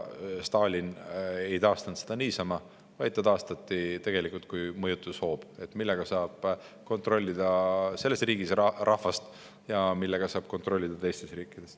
Stalin ei taastanud seda niisama, vaid ta taastati tegelikult kui mõjutushoob, millega saab rahvast kontrollida selles riigis ja teistes riikides.